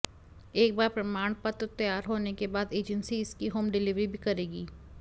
एक बार प्रमाणपत्र तैयार होने के बाद एजेंसी इसकी होम डिलवरी भी करेगी